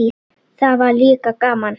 Það var líka gaman.